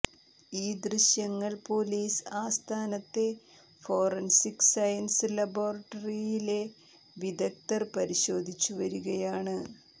ഈ ദൃശ്യങ്ങൾ പൊലീസ് ആസ്ഥാനത്തെ ഫോറൻസിക് സയൻസ് ലബോറട്ടറിയിലെ വിദഗ്ദ്ധർ പരിശോധിച്ചുവരികയാണ്